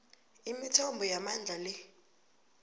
imithombo yamandla le